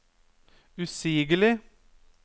usigelig